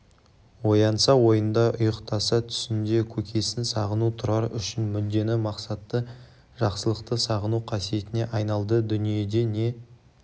оянса ойында ұйықтаса түсінде көкесін сағыну тұрар үшін мүддені мақсатты жақсылықты сағыну қасиетіне айналды дүниеде не